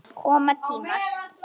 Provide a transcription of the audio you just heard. Koma tímar!